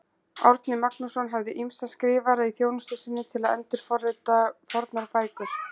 Árni Magnússon hafði ýmsa skrifara í þjónustu sinni til að endurrita fornar bækur.